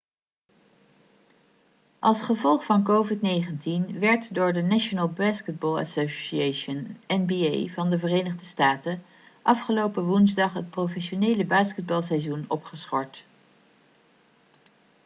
als gevolg van covid-19 werd door de national basketball association nba van de verenigde staten afgelopen woensdag het professionele basketbalseizoen opgeschort